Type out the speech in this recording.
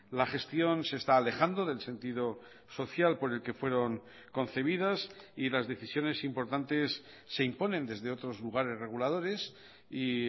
la gestión se está alejando del sentido social por el que fueron concebidas y las decisiones importantes se imponen desde otros lugares reguladores y